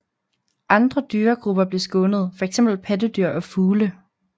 Andre dyregrupper blev skånet fx pattedyr og fugle